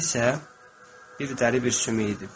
Özü isə bir dəri bir sümük idi.